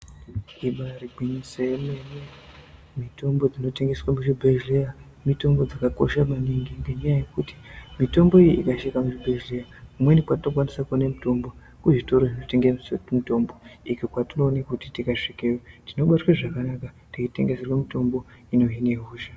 Ibari gwinyiso remene mitombo dzinotengeswa muzvibhedhleya mitombo dzakakosha maningi ngenyaya yekuti mitombo iyi ikashaika muzvibhedhleya kumweni kwatinokwanisa kuona mutombo kuzvitoro zvinotengesa mutombo izvo kwatinoonakuti tikasvikeyo tinobatwa zvakanaka teitengeserwe mitombo inohina hosha.